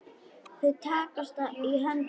Þau takast í hendur.